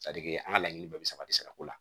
an ka laɲini bɛɛ bɛ sabati sira ko la